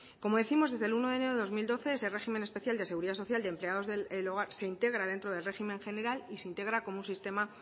como décimos desde el uno de enero de dos mil doce ese régimen especial de seguridad social de empleados del hogar se integra dentro del régimen general y se integra como un sistema